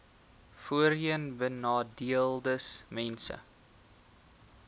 voorheenbenadeeldesmense